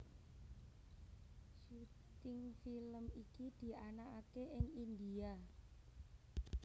Syuting film iki dianakaké ing India